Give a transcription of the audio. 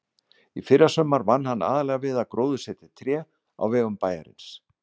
Í fyrrasumar vann hann aðallega við að gróðursetja tré á vegum bæjarins.